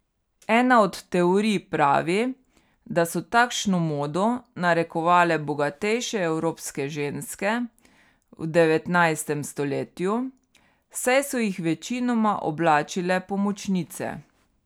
Ena od teorij pravi, da so takšno modo narekovale bogatejše evropske ženske v devetnajstem stoletju, saj so jih večinoma oblačile pomočnice.